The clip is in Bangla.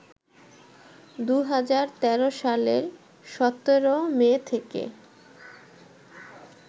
২০১৩ সালের ১৭ মে থেকে